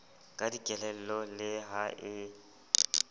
ka dikelello le ha e